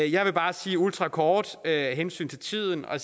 jeg vil bare sige ultrakort af hensyn til tiden at